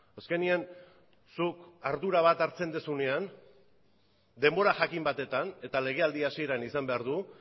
azkenean zuk ardura bat hartzen duzunean denbora jakin batetan eta legealdi hasieran izan behar du